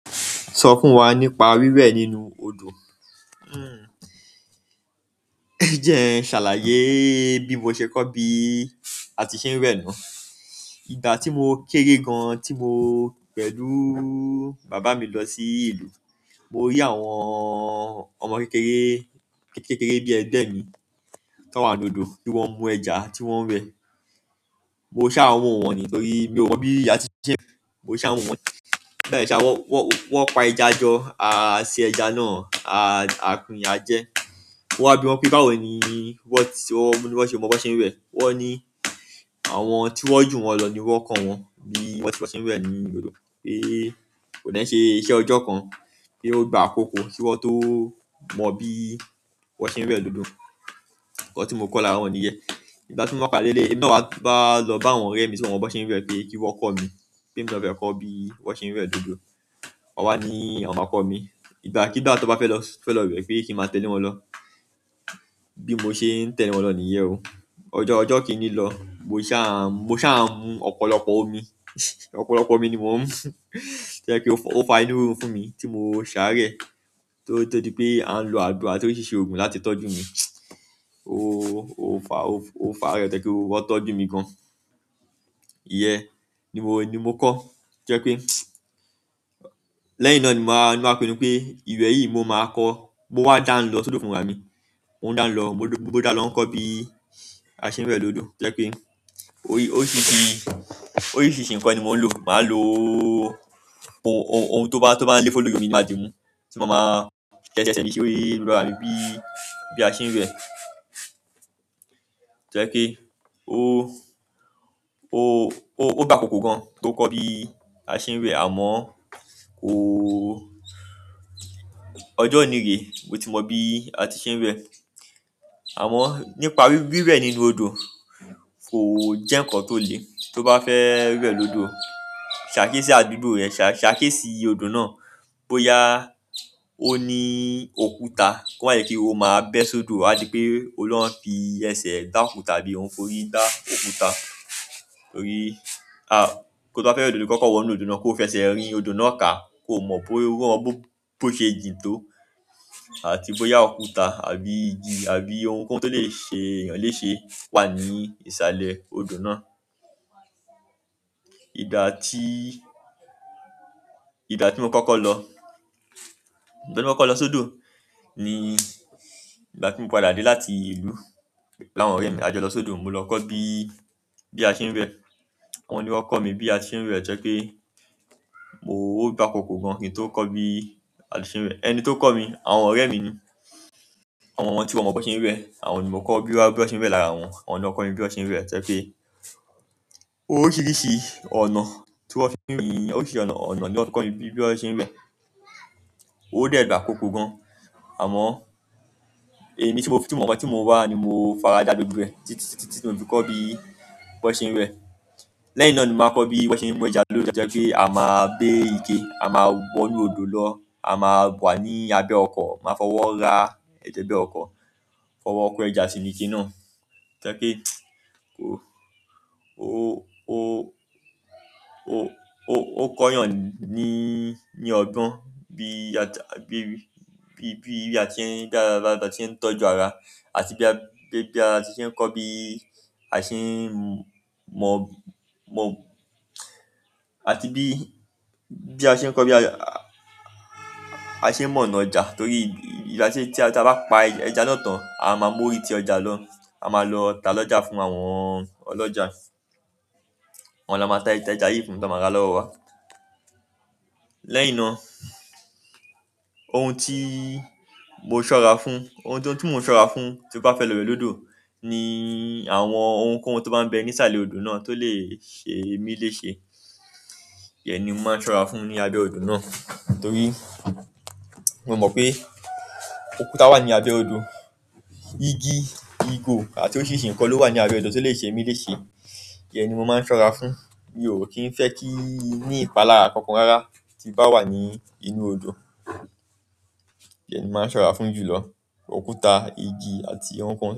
So fún wa nípa wiwẹ nínú odò. Hmmm. Ẹ jẹ n ṣàlàyé bí mo ṣe kọ́ bí a ti ṣe ń wẹ na. Ìgbà ti mo kéré gan ti mo pẹ̀lú bàbá mi lọsí ìlú, mo rí àwọn ọmọ kékeré bi ẹgbẹ mí tan wá lódò ti wọn mu ẹja ti wọn wẹ. Mo ṣá wo wọ̀n ni torí mi ò mọ̀ bí a ṣe ń wẹ. Mo ṣá wọ́n wọ̀n ni. Lẹ́ẹ̀sà wọ́n, wọ́n pa ẹja jọ, a se ẹja náà, a, a pín ajẹ. Mo wa bí wọn pé báwo ni wọ́n ti, wọ́n ṣe mọ bí wọ́n ṣe ń wẹ. Wọ́n ní àwọn tí wọ́n jù wọ́n lọ ni wọ́n kọ́ wọn bí wọ́n ṣe ń wẹ ní odò pé kò dẹ̀ ṣe iṣẹ́ ọjọ́ kan kí ó gbà àkókò kí wọ́n tó mọ bí wọ́n ṣe ń wẹ lodò. Nkan tí mo kọ́ lára wọn ni yẹ́n. Ìgbà tí mo ká lele náà wá bá lọ bá àwọn ọ̀rẹ́ mi tí wọ́n mọ bí wọ́n ṣe ń wẹ pé kí wọ́n kọ́ mi, pé mo fẹ́ kọ́ bí wọ́n ṣe ń wẹ odò. Wọ́n wá ní, "Àwọn máa kọ́ ọ mí. Ìgbà kí ìgbà tí o bá fẹ́ lọ, fẹ́ lọ wẹ pé kí n máa tẹ́le wọn lọ." Bí mo ṣe ń tẹ́le wọn lọ ni yẹ́n o. Ọjọ́, ọjọ́ kì í ní lọ. Mo ṣá, mo ṣá mú ọ̀pọ̀lọpọ̀ omi. Ọ̀pọ̀lọpọ̀ omí ni mó ń mú jẹ́ pe ó fa, ó fa inú rírun fún mi tí mo ṣá rẹ̀ tó, tó di pé à ń lo àgbo àti óriṣìṣi òògùn láti tọ́jú mi. Ó, ó fa, ó fa rẹ̀ to ẹ́ pé wọ́n tọ́jú mi gan. Iyẹ́n. Ni mo, ni mo kọ́. Jẹ́ pé lẹ́yìn náà ni màá, ni màá pinnu pé ìwẹ̀ yìí mo máa kọ́. Mo wá dá ń lọ sódò fún bàbá mi. Mo ń dá ń lọ, mo dá lọ ń kọ́ bí a ṣe ń rẹ odò. Ro jẹ́ pé ó rí, oríṣiríṣi, oríṣiríṣi nǹkan ni mò ń lò. Màá lò ohun, ohun tó bá, tó bá le fò lórí omi, màá di mú tí mo máa tẹ́tẹ́ sí i bí i bá mi bí, bí a ṣe ń wẹ. To jẹ́ pé ó, ó, ó gba àkókò gan tó kọ́ bí a ṣe ń rẹ àmọ́ o-- ọjọ́ ò ní rè. Mo ti mọ bí a ti ṣe ń wẹ. Àmọ́ nípa wíwẹ nínú odò, kò jẹ́ ǹkan tó le. Tó bá fẹ́ wẹ odò, ṣàkíyèsí àdúgbò rẹ̀, ṣàkíyèsí odò náà. Bóyá ó ní òkúta ko ma jẹ kí ó máa bẹ́ sódò, àdì pé o lọ́ un fi ẹsẹ̀ gbá òkú tàbí ohun fórí gbá òkúta. Torí a, kó tó fẹ́ lọ odò kọ́kọ́ wọ inú odò náà kó fẹsẹ̀ rìn odò náà kà kó mọ̀ bóyá ó gbó, bó ṣe jìn tó àti bóyá òkúta àbí igi àbí ohunkóhun tó lè ṣe èèyàn léṣe wà ní ìsàlẹ̀ odò náà. Ìgbà tí, ìgbà tí mo kọ́kọ́ lọ, ìgbà tí mo kọ́kọ́ lọ sódò ni ìgbà tí mo padà dé láti ìlú láwọn ọ̀rẹ́ mi. A jọ lọ sódò, mo lọ kọ́ bí, bí a ṣe ń wẹ. Wọ́n ni wọ́n kọ mi bí a ṣe ń wẹ tẹ́ pé mo gbà àkókò gan kí n tó kọ́ bí a ṣe ń wẹ. Ẹni tí ó kọ́ mi, àwọn ọ̀rẹ́ mi ni. Àwọn ọmọ tí wọ́n mọ bí wọ́n ṣe ń wẹ. Àwọn ni mo kọ́ bí wọ́n ṣe ń wẹ lára wọn. Wọ́n ni ó kọ́ mi bí wọ́n ṣe ń wẹ tẹ́ pé ó rí i ṣe ọ̀nà tí wọ́n fi ń wẹ, ó rí i ṣe ọ̀nà, ọ̀nà tí wọ́n kọ mí bí wọ́n ṣe ń wẹ. Óò dẹ́ gbà àkókò gan àmọ́ èmi tí mo fìtí mọ̀, ọmọ tí mo wà ni mo faradà gbogbo ẹ títí, títí mo fi kọ́ bí wọ́n ṣe ń wẹ. Lẹ́yìn náà ni mo wá kọ bi wọn ṣe mú ẹja lódò to jẹ pé a máa gbé ike a máa wọ inú odò lọ a máa wà ni abẹ́ ọkọ ma fọ wọ rá emẹ jẹ ọkọ fọwọ kẹja síbi gi náà to jẹ́ pé kó, ó, ó, ó, ó kọ yàn ní, ní ọgbọ́n bí a tí, bí, bí, bí a ti ń dára dára tí a ṣe ń tọ́jú ara àti bí a ṣe ń kọ́ bí a ṣe ń mọ̀, mọ̀ àti bí, bí a ṣe ń kọ́ bí a ṣe mọ̀ ọ̀nà ọjà torí ìbá ṣe tí a bá pa ẹja lọ́tàn a máa mú ú rí tí ọjà lọ. A máa lọ tá lọ́jà fún àwọn ọlọ́jà. Àwọn ni a máa tá ẹja yìí fún, tí a máa ra lọ́wọ́ wa. Lẹ́yìn náà ohun tí mo ṣọ́ra fún, ohun tó tú mo ṣọ́ra fún tí ó bá fẹ́ lọ bẹ lódo ni àwọn ohunkóhun tó bá ń bẹ ní ìsàlẹ̀ odò náà tó lè ṣe mí léṣe. Íyẹn ni mo máa ń ṣọ́ra fún ní abẹ́ odò náà torí mo mọ̀ pé òkúta wà ní abẹ́ odò. Igi, ìgò àti óriiṣìṣi ǹkan ló wà ní abẹ́ odò tí ó lè ṣe mí léṣe. Ìyẹn ni mo máa ń ṣọ́ra fún. Mi ò kí ń fẹ́ kí ní ìpalára kankan rárá tí bá wà ní inú odò. Ìyẹn ni mo máa ń ṣọ́ra fún jù lọ. Òkúta, igi àti ohunkóhun.